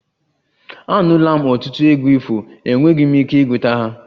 Anụla m ọtụtụ egwu ifo, enweghị m ike ịgụta ha